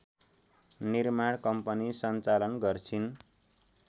निर्माण कम्पनी सञ्चालन गर्छिन्